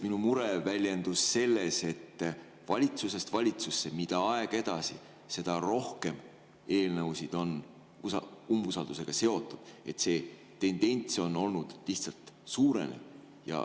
Minu mure oli lihtsalt selles, et valitsusest valitsusse, mida aeg edasi, seda rohkem eelnõusid on umbusalduse seotud, see tendents on olnud süvenev.